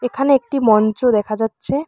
এখানে একটি মঞ্চ দেখা যাচ্ছে।